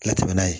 Ka tɛmɛ n'a ye